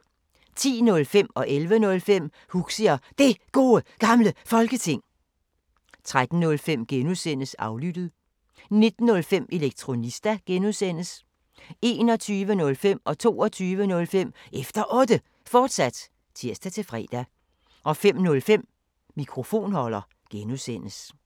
10:05: Huxi og Det Gode Gamle Folketing 11:05: Huxi og Det Gode Gamle Folketing, fortsat 13:05: Aflyttet G) 19:05: Elektronista (G) 21:05: Efter Otte, fortsat (tir-fre) 22:05: Efter Otte, fortsat (tir-fre) 05:05: Mikrofonholder (G)